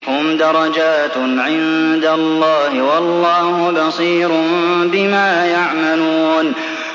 هُمْ دَرَجَاتٌ عِندَ اللَّهِ ۗ وَاللَّهُ بَصِيرٌ بِمَا يَعْمَلُونَ